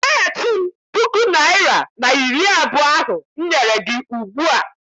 Nyeghachi m puku naịra na iri abụọ ahụ m nyere gị ugbua!